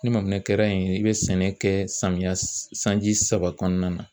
Ni maminɛn kɛra i bɛ sɛnɛ kɛ samiya sanji saba kɔnɔna na.